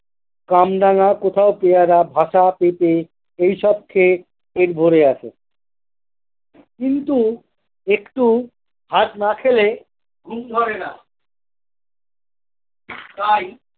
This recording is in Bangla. কামরাঙা কোথাও পেয়ারা ভাসা পেপে এইসব খেয়ে পেট ভরে আসে কিন্তু একটু ভাত না খেলে ঘুম ধরেনা তাই।